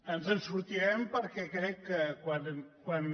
ens en sortirem perquè crec que quan